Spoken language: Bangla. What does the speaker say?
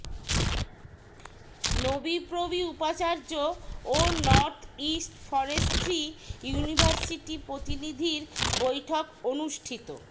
নোবিপ্রবি উপাচার্য ও নর্থ ইস্ট ফরেস্ট্রি ইউনিভার্সিটি প্রতিনিধির বৈঠক অনুষ্ঠিত